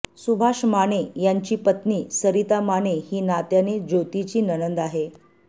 सुभाष माने यांची पत्नी सरिता माने ही नात्याने ज्योतीची नणंद आहे